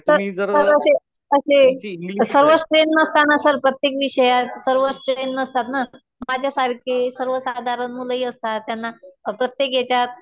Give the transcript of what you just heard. तर असे, असे सर्वच ट्रेन नसतात ना सर .प्रत्येक विषयात सर्वच ट्रेन नसतात ना. माझ्यासारखे सर्व साधारण मुलंही असतात. त्यांना प्रत्येक याच्यात